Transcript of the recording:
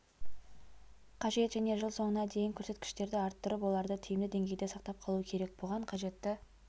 қажет және жыл соңына дейін көрсеткіштерді арттырып оларды тиімді деңгейде сақтап қалу керек бұған қажетті